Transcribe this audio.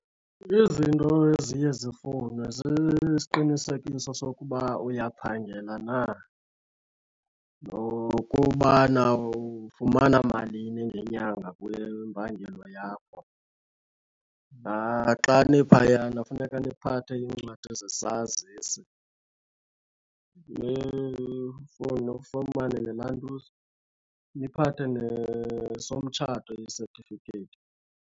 Izinto eziye zifunwe zisiqinisekiso sokuba uyaphangela na, nokubana ufumana malini ngenyanga kule mpangelo yakho. Naxa niphayana funeka niphathe iincwadi zesazisi, nifumane ne lantuza. Niphathe nesomtshato isetifiketi.